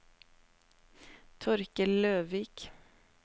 Torkel Løvik